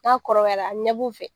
N'a kɔrɔbayala a bi ɲɛ b'u fɛ